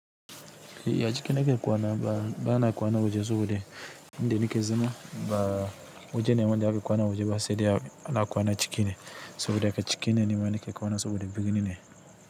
Eh a ciki nake kwana bana kwanan waje sabode. Inda nike zama ba waje ne wanda ake kwanan waje ba sedai ana kwana chikine. Tunda ga cike ne nima nake kwana saboda birni ne.